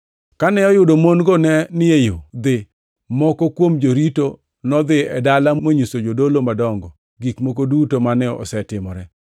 Kane oyudo mon-go ne ni e yo dhi, moko kuom jorito nodhi e dala monyiso jodolo madongo gik moko duto mane osetimore.